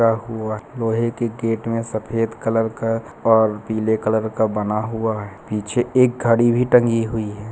-- हुआ है लोहे के गेट में सफेद कलर का और पीले कलर का बना हुआ है। पीछे एक घड़ी भी टंगी हुई है।